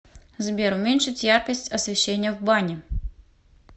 сбер уменьшить яркость освещения в бане